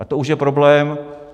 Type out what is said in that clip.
A to už je problém.